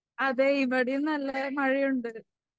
അതെ ഇവിടെയും നല്ല മഴയുണ്ട്.